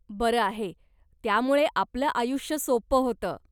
बरं आहे, त्यामुळे आपलं आयुष्य सोपं होतं.